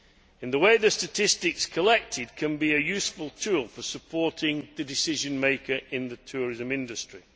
In this way, the statistics collected can be a useful tool for supporting the decision maker in the tourism industry.